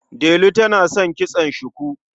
Delu tana son kitson shuku.